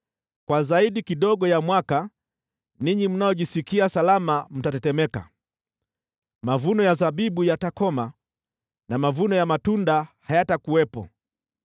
Muda zaidi kidogo ya mwaka mmoja, ninyi mnaojisikia salama mtatetemeka, mavuno ya zabibu yatakoma na mavuno ya matunda hayatakuwepo.